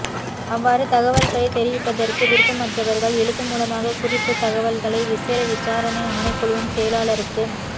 அவ்வாறு தகவல்களை தெரிவிப்பதற்கு விருப்பமற்றவர்கள் எழுத்து மூலமாக குறித்ததகவல்களை விசேட விசாரணை ஆணைக்குழுவின் செயலாளருக்கு